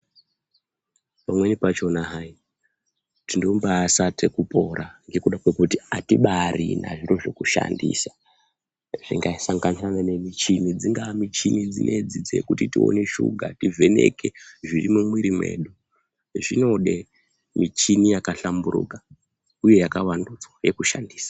Pamweni pachona hai tinombasaka pora ngekuda kwekuti atimbarina zvekushandisa zvingasanganisira michini dzingaa michini dzinedzi dzekuti tione shuga tivheneke zviri mumwiri mwedu zvinode michini yakahlamburuka uye yakavandudzwa yekushandisa.